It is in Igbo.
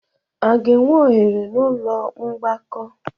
A ga-enwe oghere n'ụlọ mgbakọ?